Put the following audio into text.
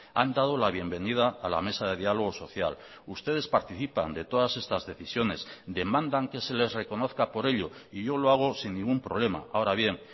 han dado la bienvenida a la mesa de diálogo social ustedes participan de todas estas decisiones demandan que se les reconozca por ello y yo lo hago sin ningún problema ahora bien